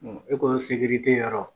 E ko yɔrɔ ?